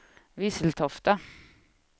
Visseltofta